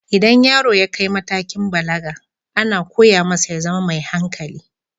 Idan yaro ya kai matakin balaga, ana koya masa ya zama mai hankali.